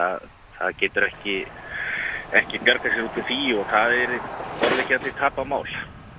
að það getur ekki ekki bjargað sér út úr því og það yrði borðleggjandi tapað mál